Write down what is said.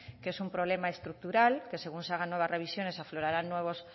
que es un problema estructural que según se hagan nuevas revisiones aflorarán nuevos